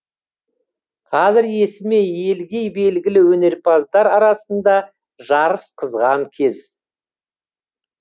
қазір есімі елге белгілі өнерпаздар арасында жарыс қызған кез